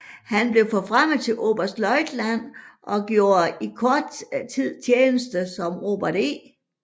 Han blev forfremmet til oberstløjtnant og gjorde i kort tid tjeneste som Robert E